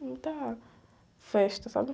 Muita festa, sabe?